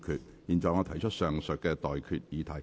我現在向各位提出上述待決議題。